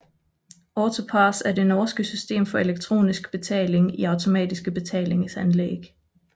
AutoPASS er det norske system for elektronisk betaling i automatiske betalinganlæg